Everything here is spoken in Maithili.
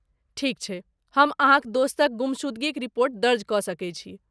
ठीक छै, हम अहाँक दोस्तक गुमशुदगीक रिपोर्ट दर्ज कऽ सकै छी।